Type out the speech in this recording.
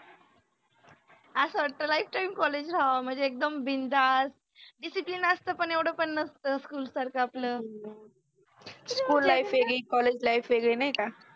अस वाटत lifetime college राहाव मनजे एकदम बिनधास्त. डिसिप्लिनअसत पन एवढ पन नसत स्कुलसारख आपल . स्कुल लाईफ वेगळि, कॉलेज लाईफ वेगळि नाइ का